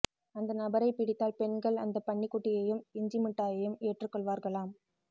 அந்த நபரை பிடித்தால் பெண்கள் அந்த பன்னிக்குட்டியையும் இஞ்சி மிட்டாயையும் ஏற்றுக்கொள்வார்களாம்